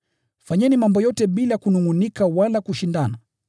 Fanyeni mambo yote bila kunungʼunika wala kushindana,